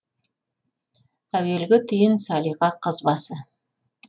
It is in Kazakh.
әуелгі түйін салиқа қыз басы